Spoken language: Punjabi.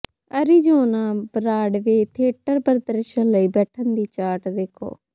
ਅਰੀਜ਼ੋਨਾ ਬਰਾਡਵੇ ਥੀਏਟਰ ਪ੍ਰਦਰਸ਼ਨ ਲਈ ਬੈਠਣ ਦੀ ਚਾਰਟ ਦੇਖੋ